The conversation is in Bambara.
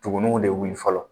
Tuguniw de wili fɔlɔ.